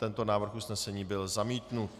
Tento návrh usnesení byl zamítnut.